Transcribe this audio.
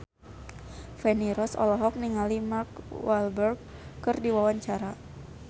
Feni Rose olohok ningali Mark Walberg keur diwawancara